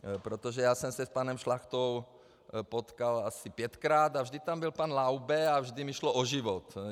Protože já jsem se s panem Šlachtou potkal asi pětkrát a vždy tam byl pan Laube a vždy mi šlo o život.